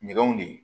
Ɲɛgɛnw de ye